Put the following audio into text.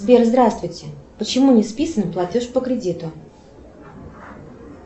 сбер здравствуйте почему не списан платеж по кредиту